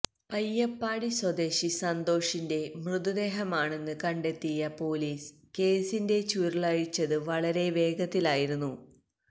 പയ്യപ്പാടി സ്വദേശി സന്തോഷിന്റെ മൃതദേഹമാണെന്ന് കണ്ടെത്തിയ പൊലീസ് കേസിന്റ ചുരുളഴിച്ചത് വളരെ വേഗത്തിലായിരുന്നു